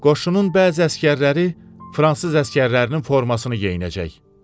Qoşunun bəzi əsgərləri fransız əsgərlərinin formasını geyinəcək.